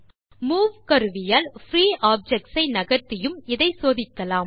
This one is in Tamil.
மூவ் கருவியால் பிரீ ஆப்ஜெக்ட்ஸ் ஐ நகர்த்தியும் இதை சோதிக்கலாம்